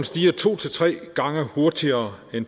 stiger to til tre gange hurtigere i